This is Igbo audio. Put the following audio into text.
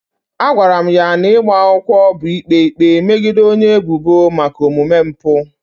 A gwara m na ịgba akwụkwọ bụ ikpe ikpe megide onye ebubo maka omume mpụ.